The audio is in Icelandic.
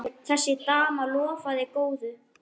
Þessi dama lofaði góðu.